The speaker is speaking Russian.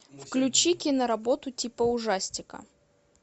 включи киноработу типа ужастика